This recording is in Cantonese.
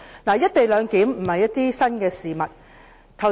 "一地兩檢"並非新事物。